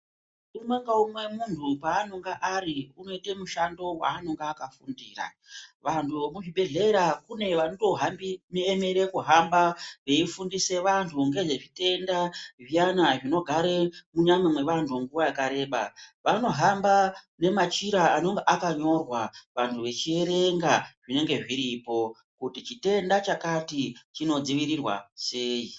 Umwe ngaumwe munhu paanonga ari unoite mushando waanenge akafundira. Vantu vekuzvibhehlera kune vanotoemere kuhamba veifundise vantu nezvezvitenda zviyana zvinogare munyama mwevantu nguva yakareba. Vanohamba nemachira anenge akanyorwa, vanhu vachierenga zvinenge zviripo kuti chitenda chakati chinodzivirirwa sei.